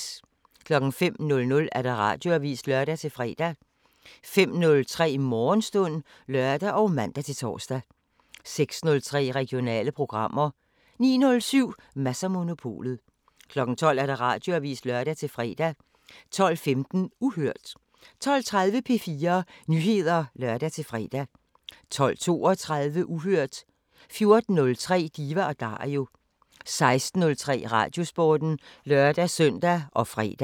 05:00: Radioavisen (lør-fre) 05:03: Morgenstund (lør og man-tor) 06:03: Regionale programmer 09:07: Mads & Monopolet 12:00: Radioavisen (lør-fre) 12:15: Uhørt 12:30: P4 Nyheder (lør-fre) 12:32: Uhørt 14:03: Diva & Dario 16:03: Radiosporten (lør-søn og fre)